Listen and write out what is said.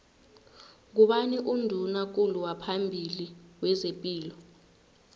ngubani unduna kulu waphambili wezepilo